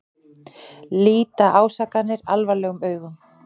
Líta ásakanir alvarlegum augum